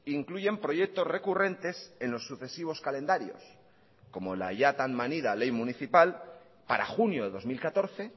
incluyen proyectos recurrentes en los sucesivos calendarios como la ya tan manida ley municipal para junio de dos mil catorce